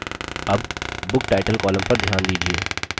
अब booktitle column पर ध्यान दीजिये